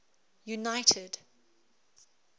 united